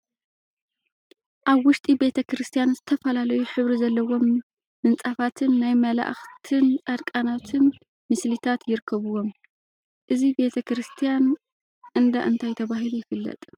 አብ ውሽጢ ቤተ ክርስትያን ዝተፈላለዩ ሕብሪ ዘለዎም ምንፃፋትን ናይ መላእክቲን ፃድቃናትን ምስሊታት ይርከቡዎም፡፡ እዚ ቤተ ክርስትያን እንዳ እንታይ ተባሂሉ ይፍለጥ?